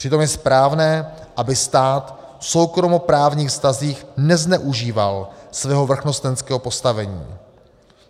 Přitom je správné, aby stát v soukromoprávních vztazích nezneužíval svého vrchnostenského postavení.